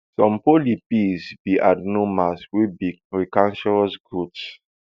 some polyps be adenomas wey be precancerous growths